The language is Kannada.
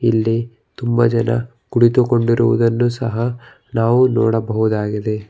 ಇಲ್ಲಿ ತುಂಬಾ ಜನ ಕುಳಿತುಕೊಂಡಿರುವುದನ್ನು ಸಹ ನಾವು ನೋಡಬಹುದಾಗಿದೆ.